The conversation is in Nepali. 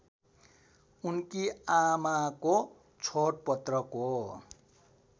उनकी आमाको छोडपत्रको